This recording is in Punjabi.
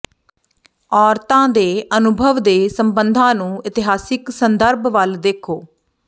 ਔਰਤਾਂ ਦੇ ਅਨੁਭਵ ਦੇ ਸਬੰਧਾਂ ਨੂੰ ਇਤਿਹਾਸਕ ਸੰਦਰਭ ਵੱਲ ਦੇਖੋ